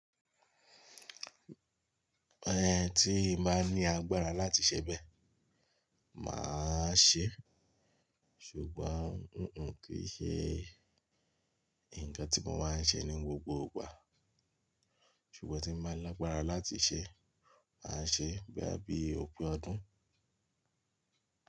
Ẹ̀hẹ̀n tíba ní agbára láti ṣẹ̀ bẹ, màá ṣẹ̀. Ṣùgbọ́n, hun hun kì í ṣẹ̀ nkàn tí mò ń má ṣẹ̀ ní gbogbo ìgbà. Ṣùgbọ́n tí màá lágbára láti ṣẹ̀, à ṣẹ̀ boya bí òpin ọdún.